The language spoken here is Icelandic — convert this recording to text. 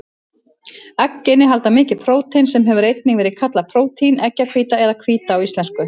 Egg innihalda mikið prótein, sem hefur einnig verið kallað prótín, eggjahvíta eða hvíta á íslensku.